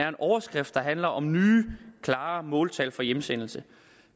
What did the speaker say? en overskrift der handler om nye klare måltal for hjemsendelse